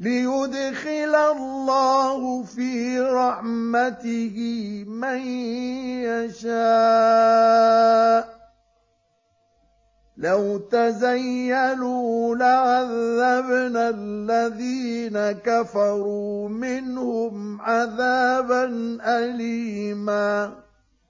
لِّيُدْخِلَ اللَّهُ فِي رَحْمَتِهِ مَن يَشَاءُ ۚ لَوْ تَزَيَّلُوا لَعَذَّبْنَا الَّذِينَ كَفَرُوا مِنْهُمْ عَذَابًا أَلِيمًا